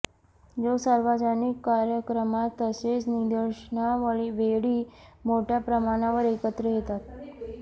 लोक सार्वजनिक कार्यक्रमात तसेच निदर्शनावेळी मोठ्या प्रमाणावर एकत्र येतात